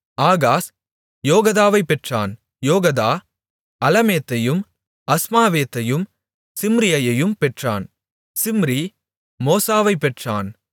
Ahaz யோகதாவைப் பெற்றான் Jehoaddah அலமேத்தையும் அஸ்மாவேத்தையும் சிம்ரியையும் பெற்றான் சிம்ரி மோசாவைப் பெற்றான்